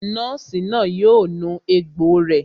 Nọ́ọ̀sì náà yóò nu egbò rẹ̀